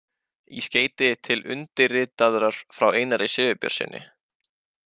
Í skeyti til undirritaðrar frá Einari Sigurbjörnssyni.